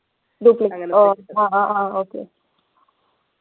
ഡ്യൂപ്ലി ah ah ah okay